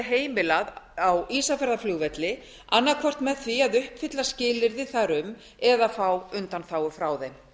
heimilað á ísafjarðarflugvelli annaðhvort með því að uppfylla skilyrði þar um eða fá undanþágu frá þeim